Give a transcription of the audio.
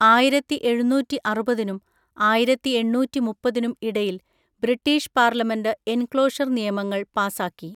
ആയിരത്തിഎഴുന്നൂറ്റിഅറുപതിനും ആയിരത്തിഎണ്ണൂറ്റിമുപ്പത്തിനും ഇടയിൽ British parliament enclosure നിയമങ്ങൾ പാസാക്കി.